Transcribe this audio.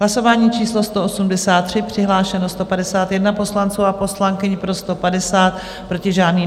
Hlasování číslo 183, přihlášeno 151 poslanců a poslankyň, pro 150, proti žádný.